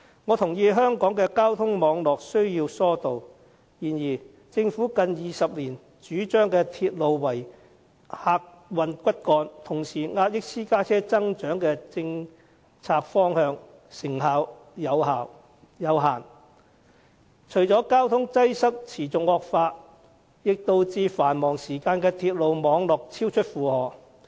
我認同香港的交通網絡需要疏導，然而，政府近20年主張以鐵路為客運骨幹，同時壓抑私家車增長的政策方向成效有限，除了令交通擠塞持續惡化外，也導致繁忙時間的鐵路網絡超出負荷。